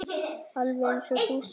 Alveg eins og þú sjálf.